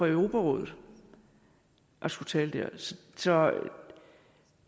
europarådet han skulle tale der så